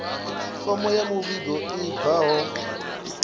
fomo ya muvhigo i bvaho